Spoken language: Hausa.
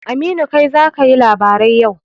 Aminu, kai ne za ka yi labarai yau.